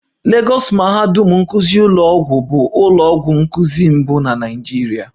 Lagọs mahadum nkụzi ụlọọgwụ bụ ụlọ ọgwụ nkuzi mbụ na Naịjirịa